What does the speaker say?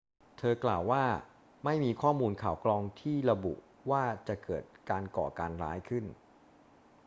เธอกล่าวว่า ไม่มีข้อมูลข่าวกรองที่ระบุว่าจะเกิดการก่อการร้ายขึ้น